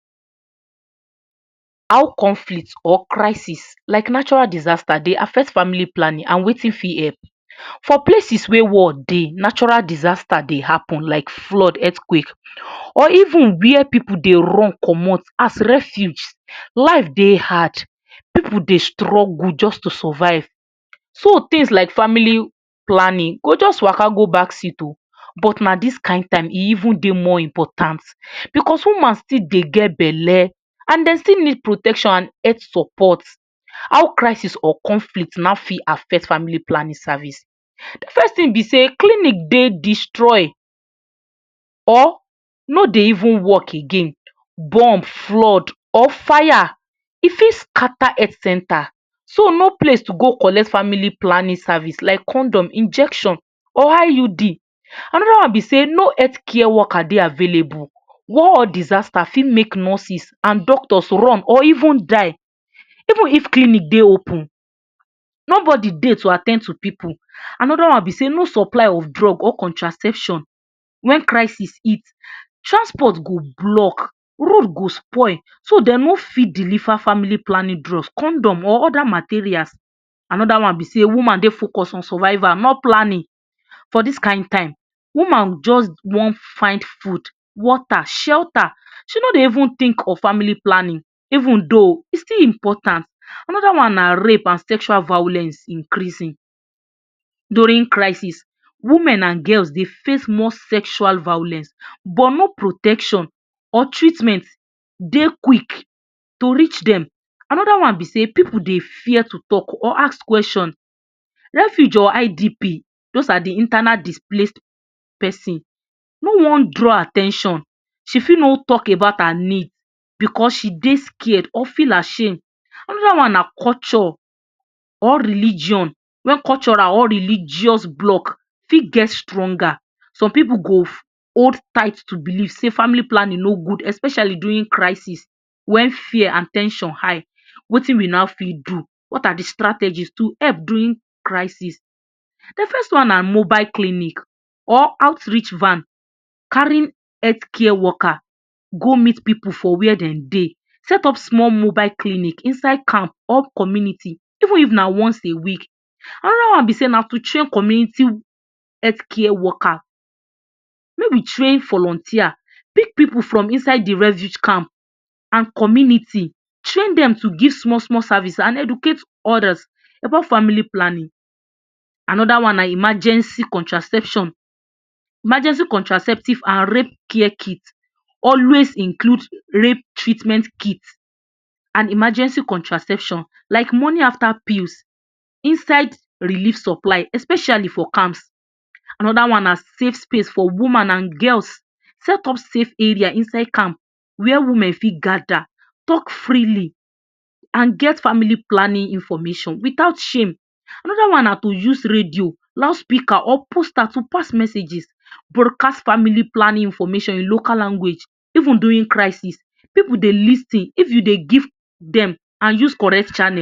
How conflict or crisis like natural disaster de affect family planning and wetin fit help for places wey war dey natural disaster dey happen like flood earthquake or even where pipu de run comot as refuge lives dey had pipu de struggle just to survive so things like family planning go just Waka go back seat or but now this kind time e even dey moree important because woman still dey get belle and dey still need protection and egg supports how crisis or conflict now fit affect family planning service. first thing to be say clinic dey destroy or no dey even work again burn, flood on fire e don't scatter health center so no place to go collect family planning service like condom, injection or IUD. Another one be sey no health care worker dey are available all disaster fit make doctor or nurses run or even die even if clinic dey open nobody de to at ten d to pipu. Another one be say no supply of drugs or contraceptive when crisis heat transport go block, road go spoil so dem no fit deliver family planning drugs condom or other materials. Another one be sey woman de focus on survival not planning for dis kind time woman just one fine food, water, shelter and she know dey even think of family planning even though still important. Another one na rape and sexual violence increasing, during crisis women and girls de face more sexual violence but no protection or treatment de quick to reach dem. Another ne be say pipu dey fear to talk or ask question refuge or IDP those are in de internal displayed person no one draw at ten tion she fits no talk about her need because she de scared or feel ashamed anoder one na culture or religion way cultural or religious block fit get stronger some pipu go hold tight to belief say family planning no good especially during crisis when fear and ten sion high wetin will not will now fit do what are de strategies to help during crisis. de first one na mobile clinic or outreach van carrying health care Worker go meet pipu for where dem dey set up small mobile clinic inside camp or community even if now once a week. another one be sey na to check community healthcare worker make we train volunteers pick pipu from inside de refuge camp and community train dem to give small small service and educate others about family planning. Another one now emergency contraception, emergency contraceptive and rape care kits always include rape treatment kit and emergency contraceptive like morning after pills, inside release supply especially for camps. another one na safe place for woman and girls set up safe area inside camp where women fit gather talk freely and get family planning information without shame. Another one na to use radio, loudspeaker or posters to pass messages broadcast family planning information for local language even though during crisis pipu de lis ten if de give dem and use correct channel